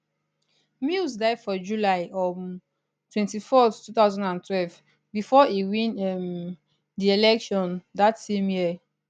mills die for july um 24th 2012 before e win um di election dat same year